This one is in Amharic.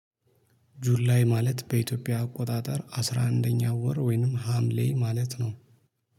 ጁላይ ማለት በኢትዮጵያ አቆጣጠር አስራ አንደኛ ወር ወይንም ሀምሌ ማለት ነው